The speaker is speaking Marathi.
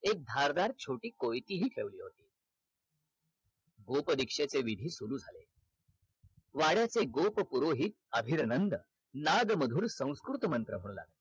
एक धारदार छोटी कोयती हि ठेवली होती गोप दीक्षेचे विधी सुरु झाले वाड्याचे गोप पुरोहित अभिर्नंद नाद मधुर संस्कृत मंत्र